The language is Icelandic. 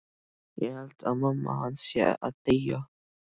Ég held að mamma hans sé að deyja.